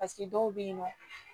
dɔw bɛ yen nɔ